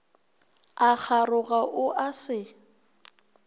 a kgaroga o a se